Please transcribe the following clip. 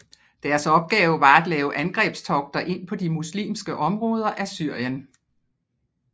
Deres opgave var at lave angrebstogter ind på de muslimske områder af Syrien